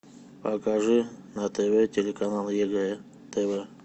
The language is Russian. покажи на тв телеканал егэ тв